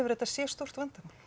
þetta sé stórt vandamál